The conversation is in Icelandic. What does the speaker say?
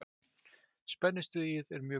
Spennustigið er mjög gott.